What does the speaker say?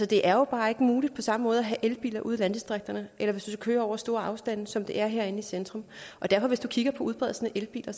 det er jo bare ikke muligt på samme måde at have elbiler ude i landdistrikterne eller hvis du køre over store afstande som det er herinde i centrum hvis du kigger på udbredelsen af elbiler